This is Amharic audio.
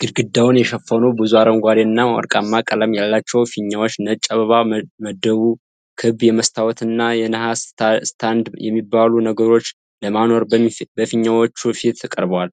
ግድግዳውን የሸፈነ ብዙ አረንጓዴና ወርቃማ ቀለም ያለው ፊኛና ነጭ አበባ መደቡ። ክብ የመስታወትና የነሐስ ስታንድ የሚበሉ ነገሮችን ለማኖር በፊኛዎቹ ፊት ቀርበዋል።